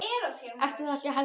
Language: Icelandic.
Ertu það ekki, Helga mín?